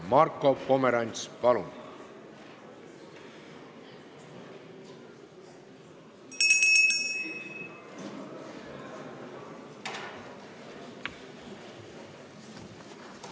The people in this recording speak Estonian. Marko Pomerants, palun!